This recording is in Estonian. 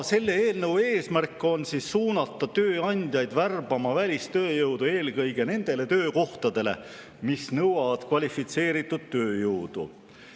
Selle eelnõu eesmärk on suunata tööandjaid värbama välistööjõudu eelkõige nendele töökohtadele, mis nõuavad kvalifitseeritud tööjõudu.